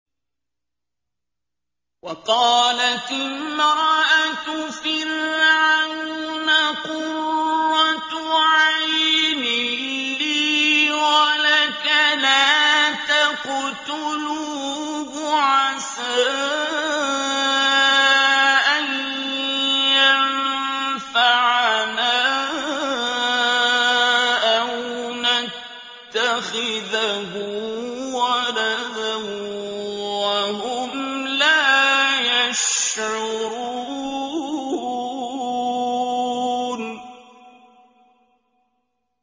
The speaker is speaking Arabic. وَقَالَتِ امْرَأَتُ فِرْعَوْنَ قُرَّتُ عَيْنٍ لِّي وَلَكَ ۖ لَا تَقْتُلُوهُ عَسَىٰ أَن يَنفَعَنَا أَوْ نَتَّخِذَهُ وَلَدًا وَهُمْ لَا يَشْعُرُونَ